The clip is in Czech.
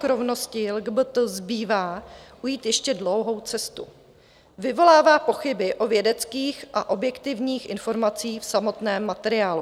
K rovnosti LGBT zbývá ujít ještě dlouhou cestu vyvolává pochyby o vědeckých a objektivních informacích v samotném materiálu.